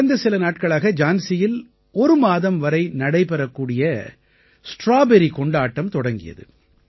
கடந்த சில நாட்களாக ஜான்சியில் ஒரு மாதம் வரை நடைபெறக்கூடிய ஸ்ட்ராபெர்ரி கொண்டாட்டம் தொடங்கியது